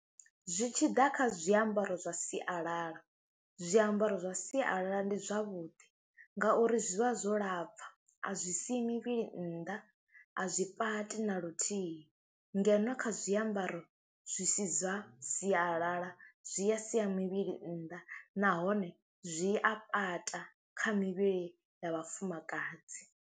Zwi tshi ḓa kha zwiambaro zwa sialala, zwiambaro zwa sialala ndi zwavhuḓi ngauri zwi vha zwo lapfha, a zwi sii mivhili nnḓa, a zwi pati na luthihi ngeno kha zwiambaro zwi si zwa sialala zwi ya siya mivhili nnḓa nahone zwi a pata kha mivhili ya vhafumakadzi.